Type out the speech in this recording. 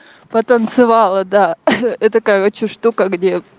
потанцевала да это короче штука где